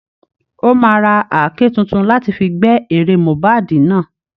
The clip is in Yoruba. Ó máa ra àáké tuntun láti fi gbẹ́ ere Mohbad náà